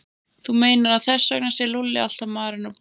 Þú meinar að þess vegna sé Lúlli alltaf marinn og blár?